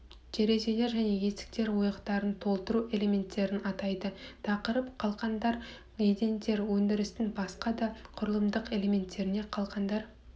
терезелер және есіктер ойықтарын толтыру элементтерін атайды тақырып қалқандар едендер өндірістің басқа да құрылымдық элементтері қалқандар